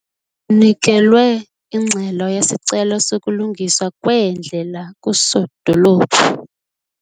Kunikelwe ingxelo yesicelo sokulungiswa kweendlela kuSodolophu.